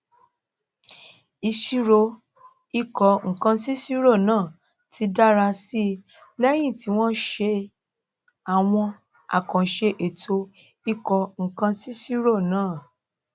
ìṣirò ìkónǹkansíiṣirò náà ti dára sí i lẹyìn tí wọn ṣe àwọn àkànṣe ètò ìkónǹkansíiṣirò náà